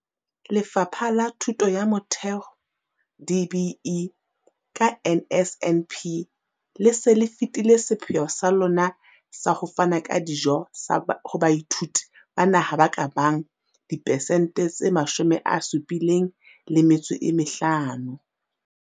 Lefapha la Thuto ya Motheo, DBE, ka NSNP, le se le fetile sepheo sa lona sa ho fana ka dijo ho baithuti ba naha ba ka bang dipesente tse 75.